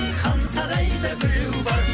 хан сарайда біреу бар